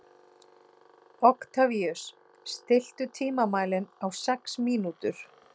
Oktavíus, stilltu tímamælinn á sex mínútur.